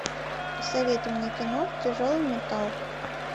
посоветуй мне кино тяжелый металл